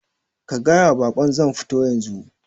Ka gayawa bakon zan futo yanzu